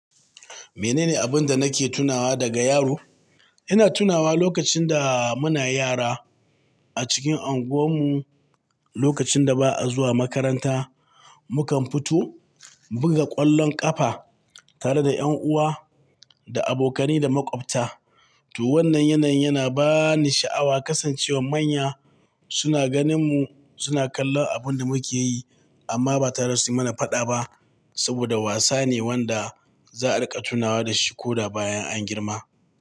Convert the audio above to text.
Mene ne abin da nake tunawa daga yaro? Ina tunawa lokacin da muna yara a cikin anguwar mu, lokacin da ba a zuwa makaranta, mukan fito mu buga ƙwallon ƙafa tare da ƴan uwa da abokane da maƙwabta. To wannan yanayin yana bani sha'awa kasancewar manya suna ganin mu suna kallon abin da muke yi amma ba ta rasu yi mana faɗa ba saboda wasa ne wanda za a riƙa tunawa da shi ko da bayan an girma.